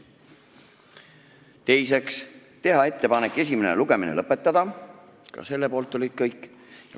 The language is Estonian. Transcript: Teiseks, teha ettepanek esimene lugemine lõpetada, ka selle poolt olid kõik.